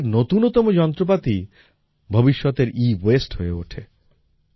আজকের নতুনতম যন্ত্রপাতিই ভবিষ্যতের এওয়াসতে হয়ে ওঠে